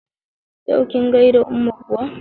Yau kin gaida umma kuwa?